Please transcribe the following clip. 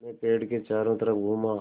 मैं पेड़ के चारों तरफ़ घूमा